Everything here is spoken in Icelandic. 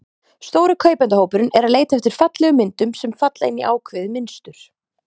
Stóri kaupendahópurinn er að leita eftir fallegum myndum, sem falla inn í ákveðið mynstur.